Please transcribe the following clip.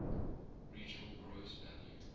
regional gross value